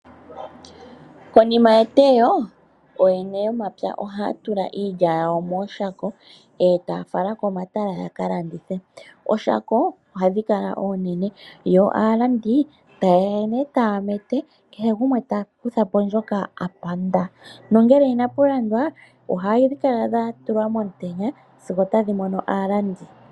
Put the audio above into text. Konima yeteyo ooyene yomapya ohaya tula iilya yawo mooshako e taya fala komatala ya ka landithe. Ooshako ohadhi kala oonene yo aalandi taye ya nduno taya mete kehe gumwe ta kutha po ndjoka a panda. Ngele inapu landwa hadhi kala dha tulwa momutenya sigo otadhi mono aalandi.